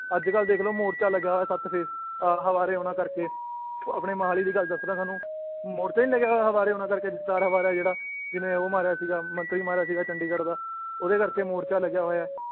ਅੱਜਕੱਲ ਦੇਖਲੋ ਮੋਰਚਾ ਲੱਗਿਆ ਹੋਇਆ ਸੱਤ ਫੇਸ ਆਹ ਹਵਾਰੇ ਹੁਨਾ ਕਰਕੇ ਆਪਣੇ ਮੋਹਾਲੀ ਦੀ ਗੱਲ ਦੱਸਰੇਆਂ ਤੁਹਾਨੂੰ ਮੋਰਚਾ ਨੀ ਲੱਗਿਆ ਹੋਇਆ ਹਵਾਰੇ ਹੁਨਾ ਕਰਕੇ ਦਸਤਾਰ ਹਵਾਰਾ ਏ ਜਿਹੜਾ ਜਿੰਨੇ ਉਹ ਮਾਰਿਆ ਸੀਗਾ ਮੰਤਰੀ ਮਾਰਿਆ ਸੀਗਾ ਚੰਡੀਗੜ੍ਹ ਦਾ ਓਹਦੇ ਕਰਕੇ ਮੋਰਚਾ ਲੱਗਿਆ ਹੋਇਆ ਏ